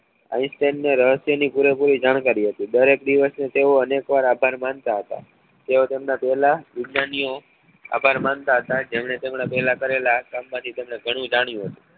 Einstein ને રહસ્ય ની પુરેપુરી જાણકારી હતી દરેક દિવસ નું તેઓ અનેક વાર આભાર માનતા હતા તેઓ તેમના પહેલા વિજ્ઞાનીઓ આભાર માનતા હતા જેમને તેમના પહેલા કરેલા કામ માંથી તેને ગણું જાણ્યું હતું